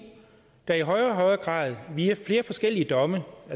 der i højere og højere grad via flere forskellige domme